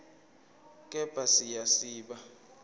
kepha siya siba